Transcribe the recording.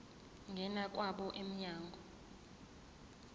ngena kwabo mnyango